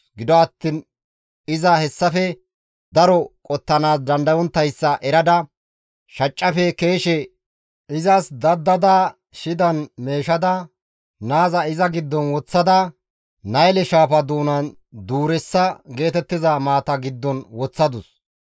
Gido attiin iza hessafe daro qottanaas dandayonttayssa erada, shaccafe keeshe izas daddada shidan meeshada, naaza iza giddon woththada Nayle shaafa doonan duureessa geetettiza maata giddon woththadus.